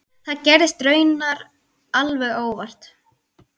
Það gerðist raunar alveg óvart.